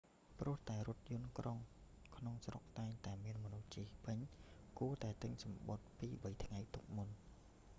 ព្រោះតែរថយន្តក្រុងក្នុងស្រុកតែងតែមានមនុស្សជិះពេញ គួរតែទិញសំបុត្រពីរបីថ្ងៃទុកមុន